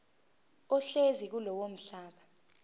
ohlezi kulowo mhlaba